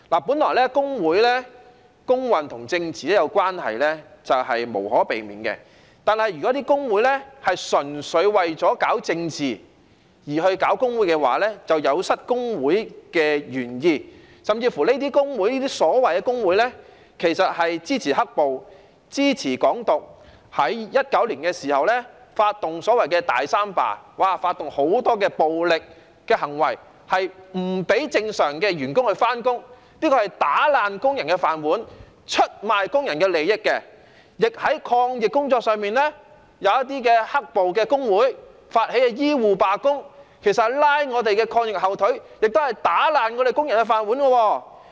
本來工運與政治相關，是無可避免的，但如果純粹為了搞政治而成立工會，便有失工會的原意，這些所謂工會甚至支持"黑暴"、支持"港獨"，在2019年發動所謂"大三罷"，發動大量暴力行為，不讓正常員工上班，這是打爛工人的飯碗、出賣工人的利益，而且在抗疫工作上，有些"黑暴"工會發起醫護罷工，其實是拉抗疫的後腿，亦打爛工人的飯碗。